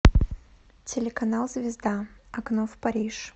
телеканал звезда окно в париж